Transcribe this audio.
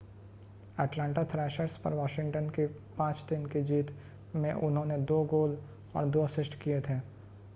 Atlanta Thrashers पर Washington की 5-3 की जीत में उन्होंने 2 गोल और 2 असिस्ट किए थे